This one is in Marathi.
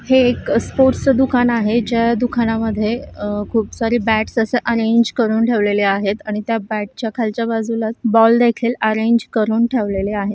हे एक स्पोर्ट्स च दुकान आहे ज्या दुकान मध्ये अ खूप सारी बॅट्स अस अरेंग करून ठेवलेल आहेत आणि बॅट च्या खालच्या बाजूला बॉल देखील अरेंग करून ठेवलेल आहेत.